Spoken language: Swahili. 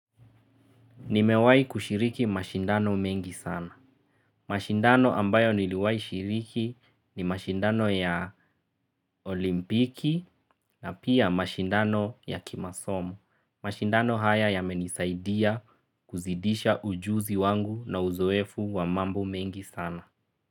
Nimewai kushiriki mashindano mengi sana. Mashindano ambayo niliwahi shiriki ni mashindano ya olimpiki na pia mashindano ya kimasomo. Mashindano haya yamenisaidia kuzidisha ujuzi wangu na uzoefu wa mambo mengi sana.